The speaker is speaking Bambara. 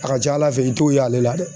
A ka ca ala fɛ i t'o ye ale la dɛ